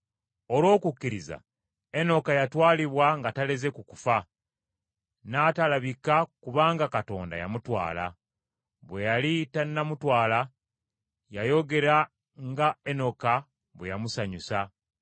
Olw’okukkiriza Enoka yatwalibwa nga taleze ku kufa, n’atalabika kubanga Katonda yamutwala. Bwe yali tannamutwala, yayogera nga Enoka bwe yamusanyusa.